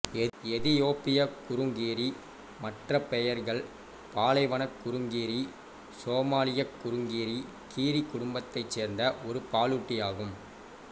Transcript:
எதியோப்பிய குறுங்கீரி மற்ற பெயர்கள் பாலைவனக் குறுங்கீரி சோமாலியக் குறுங்கீரி கீரி குடும்பத்தைச் சேர்ந்த ஒரு பாலூட்டி ஆகும்